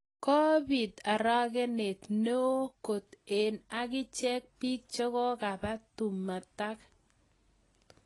Kopit arakenet neoo kot eng akichek pik chekokaba tumatak.